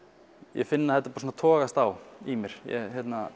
ég finn að þetta togast á í mér ég